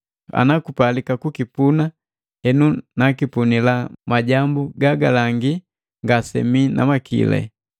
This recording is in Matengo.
Anakupalika kukipuna henu nakipunila majambu gagalangi ngasemii na makili.